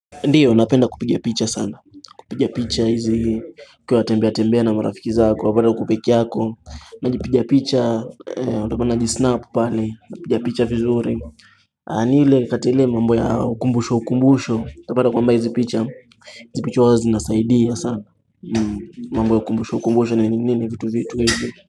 Ndiyo, napenda kupiga picha sana. Kupiga picha hizi ukiwa unatembea tembea na marafiki zako. Wapata uko peke yako. Najipiga picha, utapata najisnapu pale. Najipiga picha vizuri. Anile, katile mambo ya ukumbusho ukumbusho. Utapata kwamba hizi picha. Hizi picha huwa zinasaidia sana. Mambo ya ukumbusho ukumbusho nini nini vitu vitu hizi.